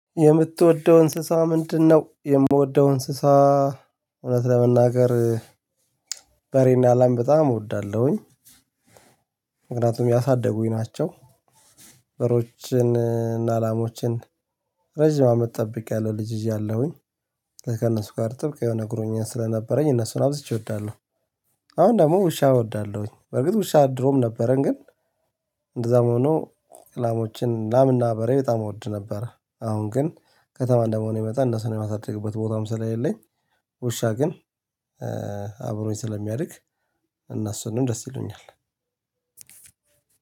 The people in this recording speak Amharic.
የምትወደው እንስሳ ምንድነው? የምወደው እንስሳ እውነት ለመናገር በሬና ላም በጣም እወዳለሁኝ። ምክንያቱም ያሳደጉኝ ናቸው። በሬዎችን እና ላምዎችን ረጅም አመት ጠብቂያለሁ ልጅ እያለሁኝ ከእነሱ ጋር ጥብቅ የሆነ ቁርኝት ስለነበረኝ እነሱን አብዝቼ እወዳለሁ። አሁን ደግሞ ውሻ እወዳለሁኝ። በርግጥ ውሻ ድሮም ነበረን ግን እንደዛም ሆኖ ላሞችን ላምና በሬ በጣም እወድ ነበር። አሁን ግን ከተማ እንደመሆኔ መጠን እነሱን የማሳድግበት ቦታም ስለሌለኝ ውሻ ግን አብሮኝ ስለሚያድግ እነሱንም ደስ ይሉኛል